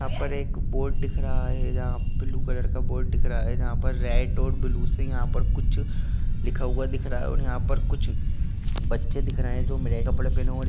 यहां पर एक बोर्ड दिख रहा है जहां पर ब्लू कलर का बोर्ड दिख रहा है| जहां पर रेड और ब्लू से यहां पर कुछ लिखा हुआ दिख रहा है और यहां पर कुछ बच्चे दिख रहे हैं जो नए कपड़े पहने हुए दि--